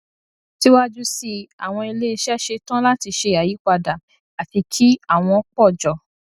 síwájú sí i àwọn iléiṣẹ ṣe tán láti ṣe àyípadà àti kí àwọn pọ jọ